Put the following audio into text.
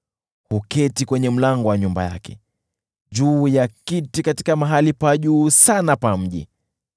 Huketi kwenye mlango wa nyumba yake, juu ya kiti katika mahali pa juu sana pa mji,